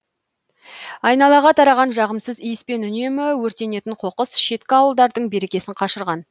айналаға тараған жағымсыз иіс пен үнемі өртенетін қоқыс шеткі ауылдардың берекесін қашырған